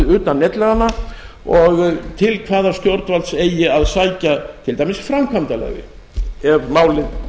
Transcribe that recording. utan netlaganna og til hvaða stjórnvalds eigi að sækja til dæmis framkvæmdarleyfið ef málið